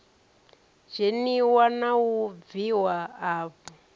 dzheniwa na u bviwa afho